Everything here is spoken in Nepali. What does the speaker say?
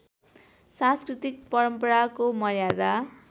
सांस्कृतिक परम्पराको मर्यादा